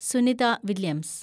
Sunitha Williams